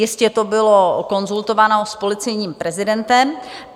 Jistě to bylo konzultováno s policejním prezidentem.